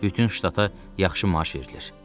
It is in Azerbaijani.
Bütün ştata yaxşı maaş verilir.